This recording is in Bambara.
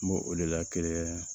N b'o o de la kelen